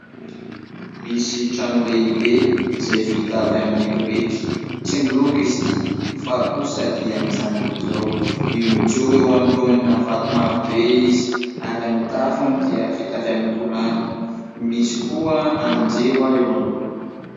Misy trano lehibe izay vita avy amin'ny biriky. Tsy miloko izy ity fa kosa dia mijanona amin'izao io mijoro eo anoloana vato maro be izy ary ny tafony dia vita avy amin'ny tolàna. Misy koa andrin-jiro eo anoloany.